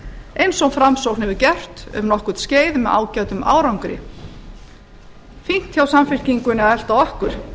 eins og framsókn hefur gert um nokkurt skeið með ágætum árangri fínt hjá samfylkingunni að elta okkur